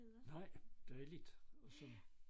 Nej der er lidt og sådan